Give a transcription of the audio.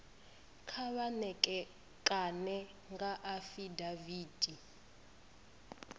kha vha ṋekane nga afidaviti